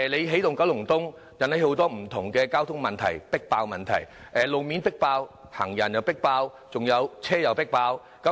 起動九龍東引起很多不同的交通迫爆問題：路面迫爆、行人迫爆、還有車輛也迫爆。